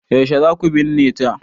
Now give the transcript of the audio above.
Yaushe za ku binne ta?